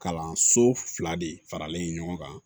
Kalanso fila de faralen ɲɔgɔn kan